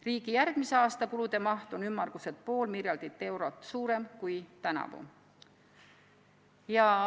Riigi järgmise aasta kulude maht on ümmarguselt pool miljardit eurot suurem kui tänavu.